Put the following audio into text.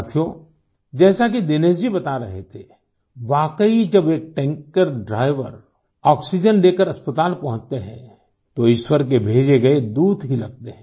साथियो जैसा कि दिनेश जी बता रहे थे वाकई जब एक टैंकर ड्राइवर आक्सीजेन लेकर अस्पताल पहुँचते हैं तो ईश्वर के भेजे गए दूत ही लगते हैं